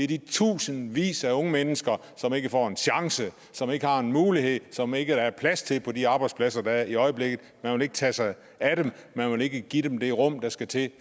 de tusindvis af unge mennesker som ikke får en chance som ikke har en mulighed som der ikke er plads til på de arbejdspladser der er i øjeblikket man vil ikke tage sig af dem man vil ikke give dem det rum der skal til